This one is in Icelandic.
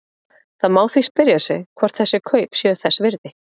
Það má því spyrja sig hvort þessi kaup séu þess virði?